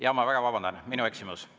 Jaa, ma väga vabandan, minu eksimus.